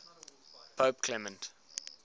pope clement